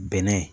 Bɛnɛ